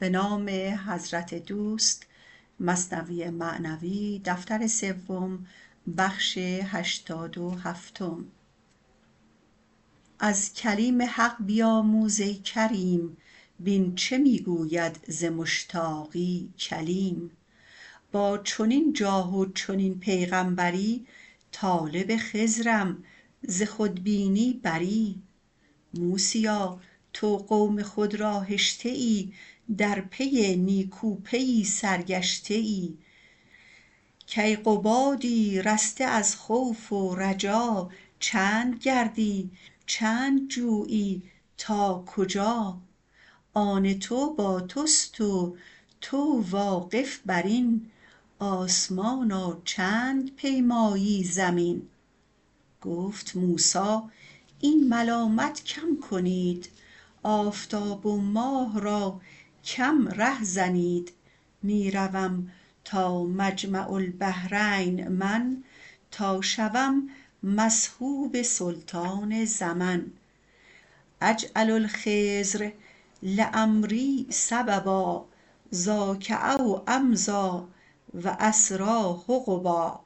از کلیم حق بیاموز ای کریم بین چه می گوید ز مشتاقی کلیم با چنین جاه و چنین پیغامبری طالب خضرم ز خودبینی بری موسیا تو قوم خود را هشته ای در پی نیکوپیی سرگشته ای کیقبادی رسته از خوف و رجا چند گردی چند جویی تا کجا آن تو با تست و تو واقف برین آسمانا چند پیمایی زمین گفت موسی این ملامت کم کنید آفتاب و ماه را کم ره زنید می روم تا مجمع البحرین من تا شوم مصحوب سلطان زمن اجعل الخضر لامری سببا ذاک او امضی و اسری حقبا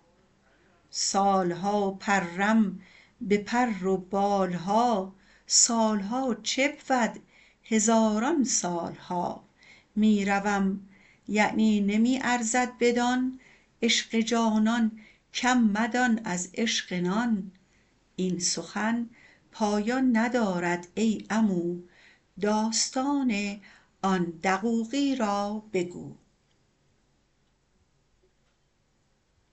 سال ها پرم به پر و بال ها سال ها چه بود هزاران سال ها می روم یعنی نمی ارزد بدان عشق جانان کم مدان از عشق نان این سخن پایان ندارد ای عمو داستان آن دقوقی را بگو